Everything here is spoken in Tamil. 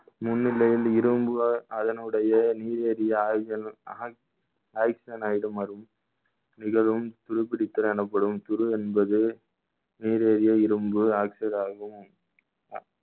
இரும்பு அதனுடைய நீர் நிகழும் துருப்பிடித்தல் எனப்படும் துரு என்பது நீரிழிவு இரும்பு oxygen ஆகும்